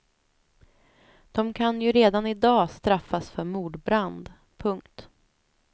De kan ju redan i dag straffas för mordbrand. punkt